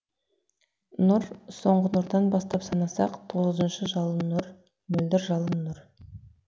нұр соңғы нұрдан бастап санасақ тоғызыншы жалын нұр мөлдіржалын нұр